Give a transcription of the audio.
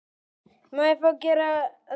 Mér hefur aldrei hugnast hann.